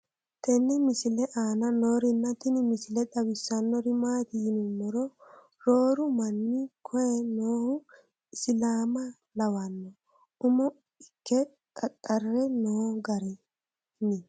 tenne misile aana noorina tini misile xawissannori maati yinummoro rooru manni koye noohu isilaamma lawanno umo ikke xaaxxire noo garinni